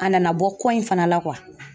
A nana bɔ ko in fana la